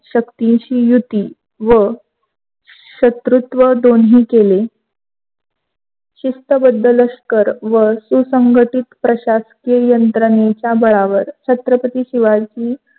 शक्तीशी युती व शत्रुत्व दोन्ही केले. शिस्तबद्द लष्कर व सुसंगातील प्रशाशिकीय यांत्रेच्या बळावर छत्रपती शिवाजी